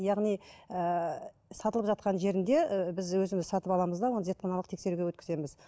яғни ііі сатылып жатқан жерінде і біз өзіміз сатып аламыз да оны зертханалық тексеруге өткіземіз